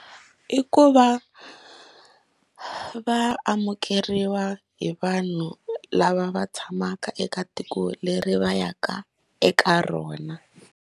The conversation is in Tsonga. I ku va va amukeriwa hi vanhu lava va tshamaka eka tiko leri va ya ka eka rona.